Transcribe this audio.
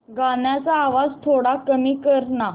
गाण्याचा आवाज थोडा कमी कर ना